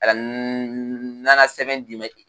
A nana sɛbɛn d'i ma